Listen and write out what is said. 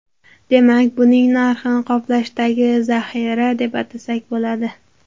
Demak, buning narxini qoplashdagi zaxira, deb atasak bo‘ladi.